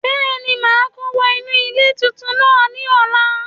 Bẹ́èni màá kó wọ inú ilé tuntun náà ní ọ̀la